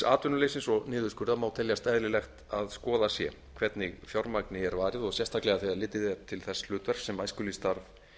atvinnuleysis og niðurskurðar má teljast eðlilegt að skoðað sé hvernig fjármagni er varið og sérstaklega þegar litið er til þess hlutverks sem æskulýðsstarf